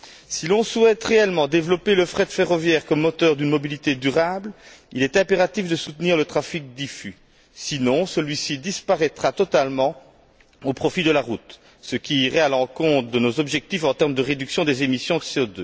Si l'on souhaite réellement développer le fret ferroviaire comme moteur d'une mobilité durable, il est impératif de soutenir le trafic diffus, sinon celui ci disparaîtra totalement au profit de la route, ce qui irait à l'encontre de nos objectifs en termes de réduction des émissions de CO